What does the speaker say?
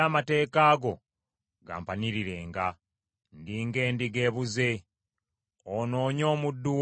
Ndi ng’endiga ebuze. Onoonye omuddu wo, kubanga seerabidde mateeka go.